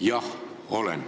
Jah, olen.